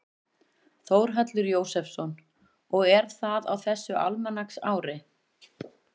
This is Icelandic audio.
Þórhallur Jósefsson: Og er það á þessu almanaksári?